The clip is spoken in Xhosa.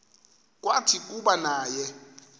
kwathi kuba naye